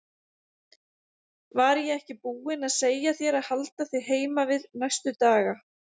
Var ég ekki búinn að segja þér að halda þig heima við næstu daga?